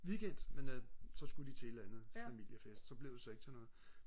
weekend men så skulle de til et eller andet familiefest så blev det så ikke til noget